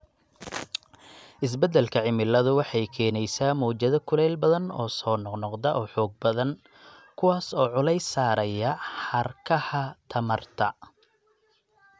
Isbeddelka cimiladu waxay keenaysaa mowjado kulayl badan oo soo noqnoqda oo xoog badan, kuwaas oo culays saaraya xadhkaha tamarta.